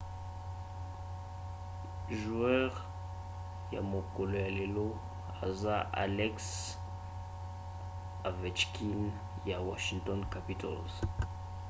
joueur ya mokolo ya lelo eza alex ovechkin ya washington capitals